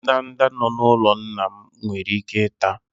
ndanda nọ n'ụlọ nna m nwere ike ịta